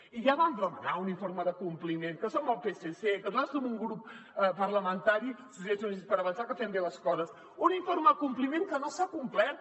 i ja vam demanar un informe de compliment que som el psc que nosaltres som un grup parlamentari socialistes i units per avançar que fem bé les coses un in·forme de compliment que no s’ha complert